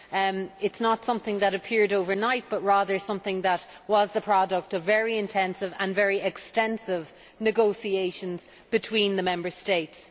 It is not something that appeared overnight, but rather something that was the product of very intensive and very extensive negotiations between the Member States.